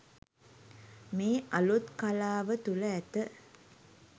මේ අලුත් කලාව තුළ ඇත